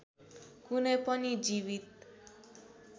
कुनै पनि जीवित